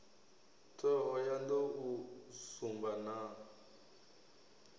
thohoyanḓ ou u sumba na